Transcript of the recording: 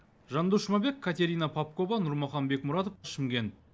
жандос жұмабек катерина попкова нурмахан бекмұратов шымкент